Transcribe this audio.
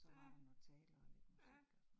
Ja. Ja